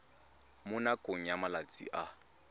mo nakong ya malatsi a